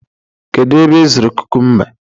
kedu ebe ị zụrụ kukumba